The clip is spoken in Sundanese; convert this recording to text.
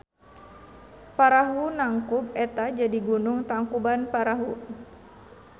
Parahu nangkub eta jadi gunung Tangkubanparahu.